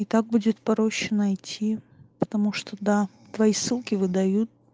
и так будет проще найти потому что да твои ссылки выдают